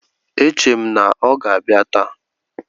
E chere m na ọ ga-abịa taa.